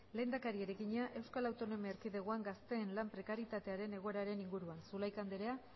lehendakariari egina eaen gazteen lan prekarietatearen egoeraren inguruan zulaika andrea